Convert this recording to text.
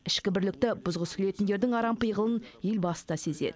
ішкі бірлікті бұзғысы келетіндердің арам пиғылын елбасы да сезеді